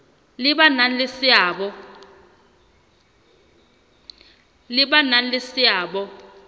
le ba nang le seabo